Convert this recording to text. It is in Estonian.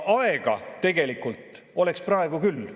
Aega tegelikult oleks praegu küll.